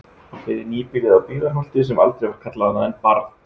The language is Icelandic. Hann byggði nýbýlið á Byggðarholti sem aldrei var kallað annað en Barð.